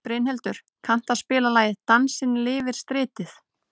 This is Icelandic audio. Brynhildur, kanntu að spila lagið „Dansinn lifir stritið“?